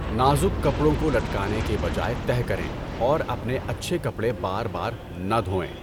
نازک کپڑوں کو لٹکانے کے بجائے تہہ کریں اور اپنے اچھے کپڑے بار بار نہ دھوئیں۔